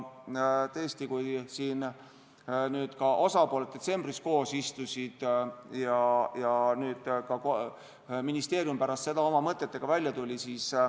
Osapooled istusid detsembris koos ja ka ministeerium pärast seda tuli oma mõtetega välja.